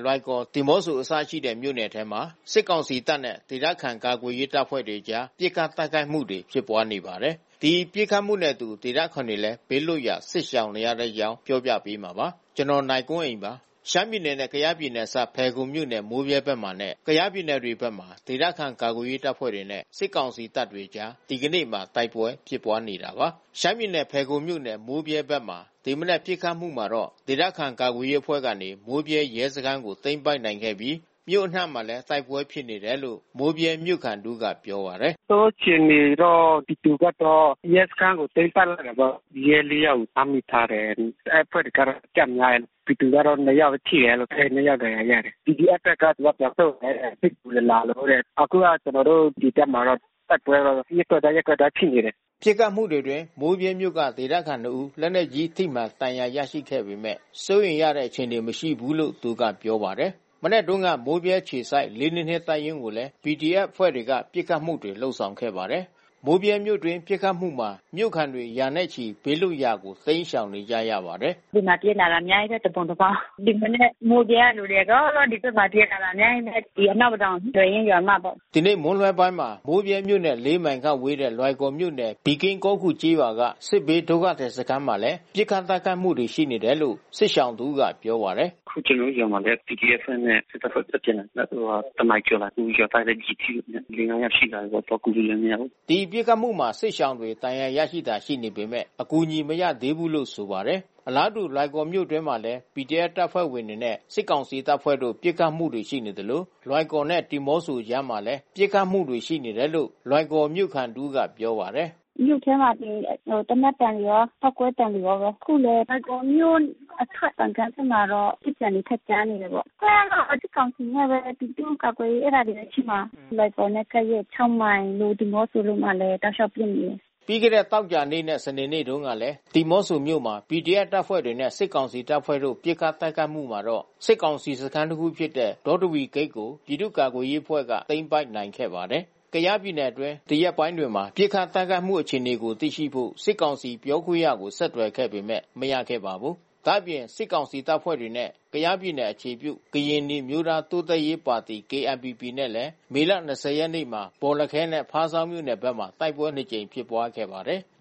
လွိုင်ကော်၊ ဒီမော့ဆို အစရှိတဲ့ မြို့နယ်ထဲမှာ စစ်ကောင်စီတပ်နဲ့ ဒေသခံ ကာကွယ်ရေးတပ်ဖွဲ့တွေအကြား ပစ်ခတ်တိုက်ခိုက်မှုတွေ ဖြစ်ပွားနေပါတယ်။ ဒီပစ်ခတ်မှုနဲ့အတူ ဒေသခံတွေလည်း ဘေးလွတ်ရာ စစ်ရှောင်နေကြရပါတယ်။ အပြည့်အစုံကို နိုင်ကွန်းအိန် တင်ပြပေးထားပါတယ်။ ရှမ်းပြည်နယ်နဲ့ ကယားပြည်နယ် အစပ်မှာရှိတဲ့ မိုးဗြဲမြို့နယ်နဲ့ ကယားပြည်နယ် လွိုင်ကော်၊ ဒီမော့ဆိုမြို့နယ်တွေမှာ ဒေသခံ ကာကွယ်ရေးအဖွဲ့တွေနဲ့ စစ်ကောင်စီတပ်တွေအကြား ဒီကနေ့မှာ တိုက်ပွဲဖြစ်ပွားနေတာပါ။ ဖယ်ခုံမြို့နယ် မိုးဗြဲဘက်မှာ ဒီမနက် ပစ်ခတ်မှုမှာ ဒေသခံ ကာကွယ်ရေးအဖွဲ့ကနေ မိုးဗြဲရဲစခန်းကို သိမ်းပိုက်နိုင်ခဲ့ပြီး မြို့အနှံ့မှာလည်း တိုက်ပွဲဖြစ်နေတယ်လို့ မိုးဗြဲမြို့ခံတဦးက ပြောပါတယ်။ “နောက်ဆုံးအခြေအနေတော့ ပြည်သူဘက်တော့ ရဲစခန်းကို သိမ်းပိုက်လိုက်တယ်ပေါ့။ ရဲ ၄ ယောက်ကို ဖမ်းမိထားတယ်။ အဲဒီအဖွဲ့တွေကတော့ အကျများတယ်။ ပြည်သူဘက်ကတော့ ၂ ယောက်ထိတယ်။ ၂ ယောက်ဒဏ်ရာရတယ်။ PDF ဘက်က သူက ပြန်ဆုတ်တယ်။ စစ်ကူတွေလာလို့တဲ့။ အခုက ကျနော်တို့ ဒီဘက်မှာတော့ တိုက်ပွဲကတော့ ရပ်ကွက်တိုင်း ရပ်ကွက်တိုင်း ဖြစ်နေတယ်။” ပစ်ခတ်မှုတွေအတွင်း မိုးဗြဲမြို့က ဒေသခံ ၂ ဦး လက်နက်ကြီးထိမှန် ဒဏ်ရာရခဲ့ပေမယ့် စိုးရိမ်ရတဲ့ အခြေအနေ မရှိဘူးလို့ သူကပြောပါတယ်။ မနက်တုန်းက မိုးဗြဲအခြေစိုက် ၄၂၂ တပ်ရင်းကိုလည်း PDF အဖွဲ့တွေကနေ ပစ်ခတ်မှုတွေ လုပ်ဆောင်ခဲ့ပါတယ်။ မိုးဗြဲမြို့တွင်းပစ်ခတ်မှုမှာ မြို့ခံတွေ ရာနဲ့ချီ ဘေးလွတ်ရာကို တိမ်းရှောင်နေကြရပါတယ်။ “ဒီမှာ ပြေးလာတာ အများကြီးပဲ။ တပုံတပါး။ ဒီမနက် မြို့ထဲကလူတွေ အကုန်လုံး ဒီဘက်မှာ ပြေးလာတာ အများကြီးပဲ။ ဒီ အနောက်ပဒေါင် သယ်ရင်းရွာမဘက်။” ဒီနေ့မွန်းလွဲပိုင်းမှာ မိုးဗြဲမြို့နဲ့ ၄ မိုင်ခန့်ဝေးတဲ့ လွိုင်ကော်မြို့နယ် ပီကင်းကောခူကျေးရွာက စစ်ဘေးဒုက္ခသည် စခန်းမှာလည်း ပစ်ခတ်တိုက်ခိုက်မှုတွေ ရှိနေတယ်လို့ စစ်ရှောင်တဦးက ပြောပါတယ်။ “အခု ကျနော်တို့ကျေးရွာမှာလည်း PDF အဖွဲ့နဲ့ စစ်တပ်အဖွဲ့ ဆက်ပစ်နေတယ်။ တနာရီကျော်မှာ။ အခု ရွာသားတွေလည်း ကျည်ထိတာ လေးငါးယောက်ရှိလာပြီပေါ့။ သွားကူလို့လည်း မရဘူး။” ဒီပစ်ခတ်မှုမှာ စစ်ရှောင်တွေ ဒဏ်ရာရတာတွေ ရှိနေပေမယ့် အကူအညီ မရရှိသေးဘူးလို့ ဆိုပါတယ်။ အလားတူ လွိုင်ကော်မြို့အတွင်းမှာလည်း PDF တပ်ဖွဲ့တွေနဲ့ စစ်ကောင်စီတပ်ဖွဲ့တို့ ပစ်ခတ်မှုတွေ ရှိနေသလို လွိုင်ကော်နဲ့ ဒီမော့ဆိုအကြားမှာလည်း ပစ်ခတ်မှုတွေ ရှိနေတယ်လို့ လွိုင်ကော်မြို့ခံတဦးက ပြောပါတယ်။ “မြို့ထဲမှာဆိုရင် သေနတ်သံတွေရော ပေါက်ကွဲသံတွေရောပဲ။ အခု လွိုင်ကော်မြို့အထွက် ပန်ကန်း(ဂိတ်)ဘက်မှာတော့ ပစ်သံတွေ ထပ်ကြားနေတယ်ပေါ့။ အဖွဲ့ကတော့ စစ်ကောင်စီနဲ့ ပြည်သူ့ကာကွယ်ရေး အဲဒါတွေပဲဖြစ်မှာ။ လွိုင်ကော်နဲ့ ကပ်ရက် ၆ မိုင် ဒီမော့ဆိုမှာလည်း တောက်လျှောက်ပစ်နေတယ်။” သောကြာနေ့နဲ့ စနေနေ့တုန်းကလည်း ဒီမော့ဆိုမြို့မှာ PDF တပ်ဖွဲ့တွေနဲ့ စစ်ကောင်စီတပ်ဖွဲ့တို့ ပစ်ခတ်တိုက်ခိုက်မှုမှာတော့ စစ်ကောင်စီစခန်းတခုဖြစ်တဲ့ ဒေါတဝီဂိတ်ကို ပြည်သူ့ကာကွယ်ရေးအဖွဲ့က သိမ်းပိုက်နိုင်ခဲ့ပါတယ်။ ကယားပြည်နယ်အတွင်း ဒီရက်ပိုင်းတွေမှာ ပစ်ခတ်တိုက်ခိုက်မှု အခြေအနေကို သိရှိဖို့ စစ်ကောင်စီပြောခွင့်ရကို ဆက်သွယ်ခဲ့ပေမယ့် မရခဲ့ပါဘူး။ ဒါ့အပြင် စစ်ကောင်စီတပ်ဖွဲ့နဲ့ ကယားပြည်နယ် အခြေပြု ကရင်နီအမျိုးသားတိုးတက်ရေးပါတီ (KNPP) နဲ့လည်း မေလ ၂၀ ရက်နေ့က ဘော်လခဲနဲ့ ဖားဆောင်းမြို့နယ်ဘက်မှာ တိုက်ပွဲနှစ်ကြိမ် ဖြစ်ပွားခဲ့ပါတယ်။